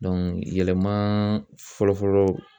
yɛlɛma fɔlɔ fɔlɔ